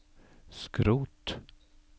skrot